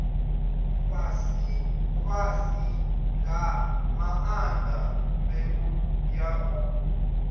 fhasifhasi nga maanḓa mbeu ya